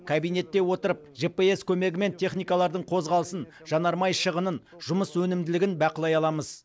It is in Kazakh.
кабинетте отырып жпс көмегімен техникалардың қозғалысын жанармай шығынын жұмыс өнімділігін бақылай аламыз